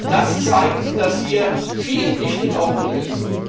Das zeigt, dass hier vieles nicht in Ordnung ist.